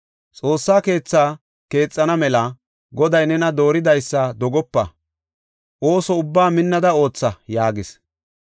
Xoossaa keetha keexana mela Goday nena dooridaysa dogopa; ooso ubbaa minnada ootha” yaagis.